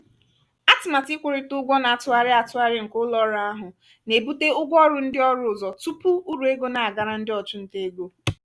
atụmatụ ikwụrịta ụgwọ na-atụgharị atụgharị nke ụlo-ọru ahụ na-ebute ụgwọ ọrụ ndị ọrụ ụzọ tupu uru ego na-agara ndị ọchụnta ego.